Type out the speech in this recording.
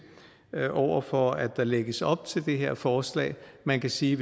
over for at der lægges op til det her forslag man kan sige